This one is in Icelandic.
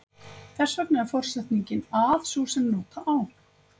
Þess vegna er forsetningin að sú sem nota á.